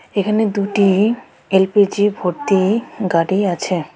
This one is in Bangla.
এখানে দুটি এল_পি_জি ভর্তি গাড়ি আছে.